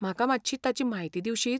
म्हाका मात्शी ताची म्हायती दिवशीत?